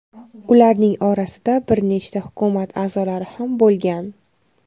Ularning orasida bir nechta hukumat a’zolari ham bo‘lgan.